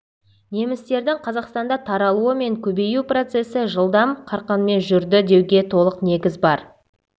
немістердің қазақстанда таралуы мен көбею процесі жылдам қарқынмен жүрді деуге толық негіз бар